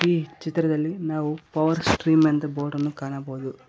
ಈ ಚಿತ್ರದಲ್ಲಿ ನಾವು ಪವರ್ ಸ್ಟ್ರೀಮ್ ಎಂದು ಬೋರ್ಡನ್ನು ಕಾಣಬಹುದು.